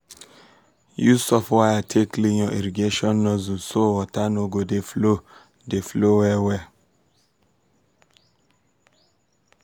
use soft wire take clean your irrigation nozzle so water go dey flow dey flow well well.